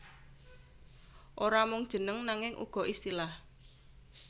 Ora mung jeneng nanging uga istilah